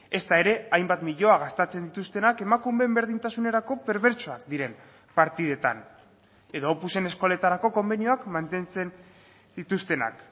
ezta ere hainbat milioi gastatzen dituztenak emakumeen berdintasunerako perbertsoak diren partidetan edo opusen eskoletarako konbenioak mantentzen dituztenak